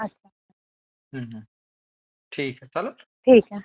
ठीक आहे चालेल.